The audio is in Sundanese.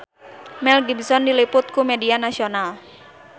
Mel Gibson diliput ku media nasional